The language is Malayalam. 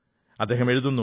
അദ്ദേഹം എഴുതുന്നു